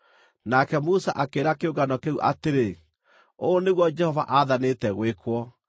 Nake Musa akĩĩra kĩũngano kĩu atĩrĩ, “Ũũ nĩguo Jehova aathanĩte gwĩkwo”